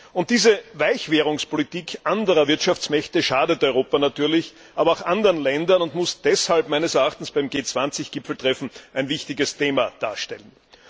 Und diese Weichwährungspolitik anderer Wirtschaftsmächte schadet natürlich Europa, aber auch anderen Ländern, und muss deshalb meines Erachtens beim G20 Gipfeltreffen ein wichtiges Thema darstellen.